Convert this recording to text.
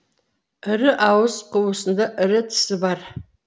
ірі ауыз қуысында ірі тісі бар